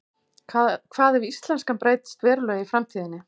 Hvað ef íslenskan breytist verulega í framtíðinni?